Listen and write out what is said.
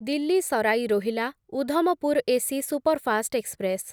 Delhi Sarai Rohilla Udhampur AC superfast express